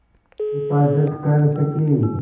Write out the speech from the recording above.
हिफ़ाज़त कर सकें